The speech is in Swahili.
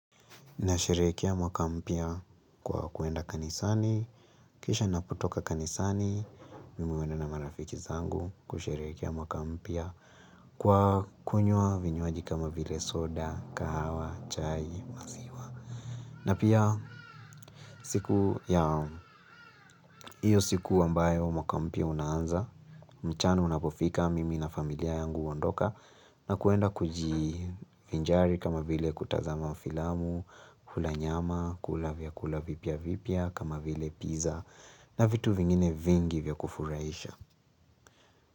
Na sherehekea mwaka mpya kwa kwenda kanisani. Kisha napotoka kanisani. Mimi huenda na marafiki zangu, kusherehekea mwaka mpya. Kwa kunywa vinywaji kama vile, soda, kahawa, chai, maziwa. Na pia siku ya hiyo siku ambayo mwaka mpya unaanza. Mchana unapofika, mimi na familia yangu uondoka. Na kwenda kujivinjari kama vile kutazama filamu. Kula nyama, kula vyakula vipya vipya, kama vile pizza. Na vitu vingine vingi vya kufurahisha.